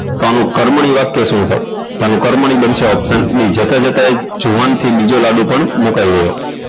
તો આનું કર્મણી વાક્ય શું થાય તો આનું કર્મણી બનશે option b જતા જતા એ જુવાન થી બીજો લાડુ પણ મુકાઈ ગયો